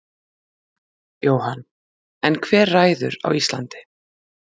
Jóhann: En hver ræður á Íslandi?